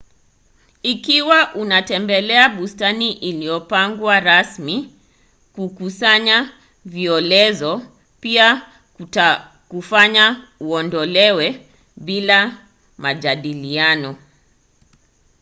ikiwa unatembelea bustani iliyopangwa rasmi kukusanya violezo” pia kutakufanya uodolewe bila majadiliano